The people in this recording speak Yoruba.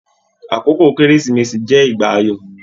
Àkókò kérésìmesì jẹ ìgbà ayọ.